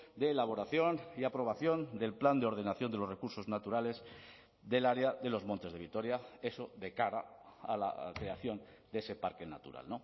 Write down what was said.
de elaboración y aprobación del plan de ordenación de los recursos naturales del área de los montes de vitoria eso de cara a la creación de ese parque natural